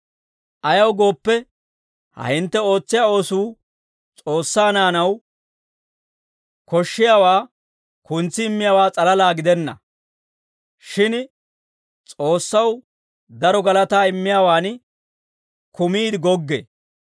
Ayaw gooppe, ha hintte ootsiyaa oosuu S'oossaa naanaw koshshiyaawaa kuntsi immiyaawaa s'alalaa gidenna; shin S'oossaw daro galataa immiyaawan kumiide goggee.